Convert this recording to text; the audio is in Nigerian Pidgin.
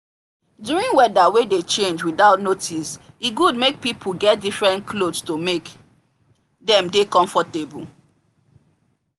during weather wey dey change without notice e good make people get different cloth to make them dey comfortable